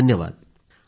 phone call समाप्त